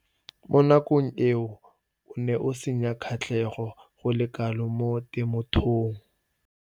Mo nakong eo o ne a sena kgatlhego go le kalo mo temothuong.